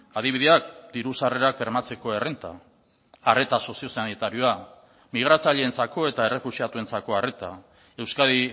adibideak diru sarrerak bermatzeko errenta arreta soziosanitarioa migratzaileentzako eta errefuxiatuentzako arreta euskadi